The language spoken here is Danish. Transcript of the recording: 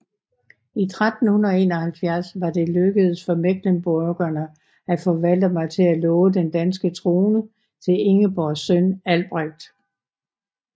I 1371 var det lykkedes for mecklenburgerne at få Valdemar til at love den danske trone til Ingeborgs søn Albrecht